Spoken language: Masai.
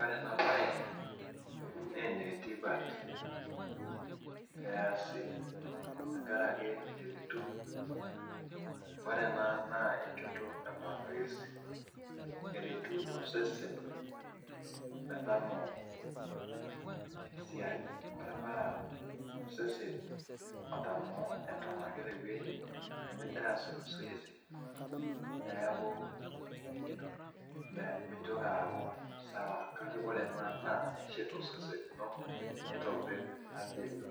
Ore ena bae naaal ene tipat eesi tenkaraki itum, ore ena naa enchoto e masoesi, eretuni osesen, metamoo esiai. ore paa osesen otamol Eton ake nimintaas masoesi. neeku meitoki aaku sawa kake ore ena eshet osesen lino, nietobir afia ino.